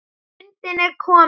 Stundin er komin.